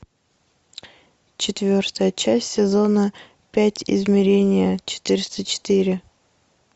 четвертая часть сезона пять измерение четыреста четыре